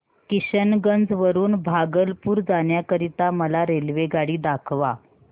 किशनगंज वरून भागलपुर जाण्या करीता मला रेल्वेगाडी दाखवा